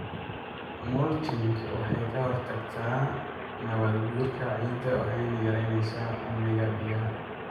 Mulching waxa ay ka hortagtaa nabaadguurka ciidda waxayna yaraynaysaa uumiga biyaha.